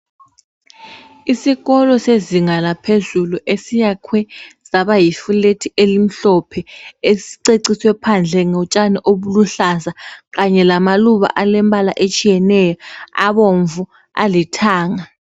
Isikolo sezinga laphezulu esiyakhwe saba yifulethi elimhlophe esiceciswe phandle ngotshani obuluhlaza kanye lamaluba alembala etshiyeneyo, abomvu, alithanga.